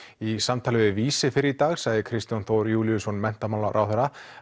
í samtali við Vísi fyrr í dag sagði Kristján Þór Júlíusson menntamálaráðherra